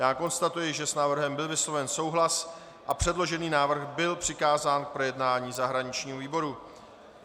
Já konstatuji, že s návrhem byl vysloven souhlas a předložený návrh byl přikázán k projednání zahraničnímu výboru.